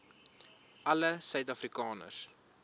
alle suid afrikaners